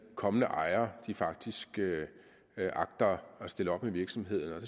kommende ejere faktisk agter at stille op med virksomheden og